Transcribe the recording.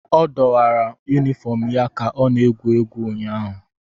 Ọ dọwara yunifọm ya ka ọ na-egwuri egwu ụnyaahụ.